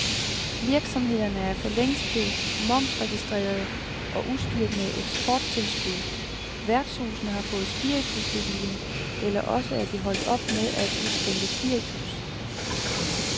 Virksomhederne er for længst blevet momsregistrerede og udstyret med eksporttilskud, værtshusene har fået spiritusbevilling eller også er de holdt op med at udskænke spiritus.